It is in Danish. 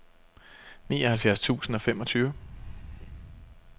nioghalvfjerds tusind og femogtyve